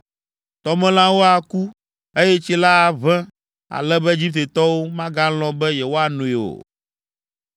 Tɔmelãwo aku, eye tsi la aʋẽ ale be Egiptetɔwo magalɔ̃ be yewoanoe o.’ ”